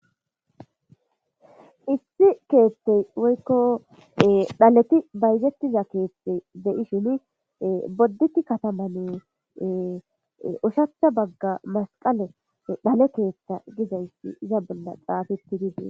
Issi keethtey woykko dhaleti bayzettiza keethtey deyishin bodditi kataman ushachcha bagga masqale dhale keeththa gizaysi iza bolla xaafeti dizie.